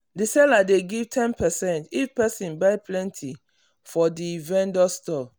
the seller dey give ten percentage if person buy plenty for the vendor store